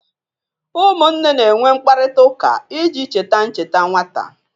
Ụmụnne na-enwe mkparịta ụka iji cheta ncheta nwata